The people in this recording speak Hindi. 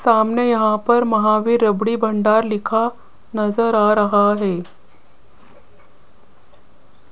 सामने यहां पर महावीर राबड़ी भंडार लिखा नज़र आ रहा है।